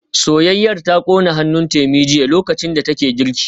Soyayyar ta kona hannun Temi jiya lokacin da take girki